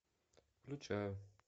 включаю